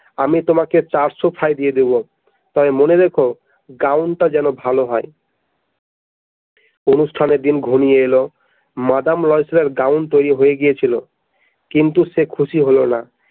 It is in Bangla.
আমি তোমাকে চারশো ফাই দিয়ে দেবো তবে মনে রেখো Grown টা যেন ভালো হয় অনুষ্ঠানের দিন ঘনিয়ে এল মাদাম লয়সেলের Grown তৈরি হয়ে গিয়েছিল কিন্তু সে খুশি হল না।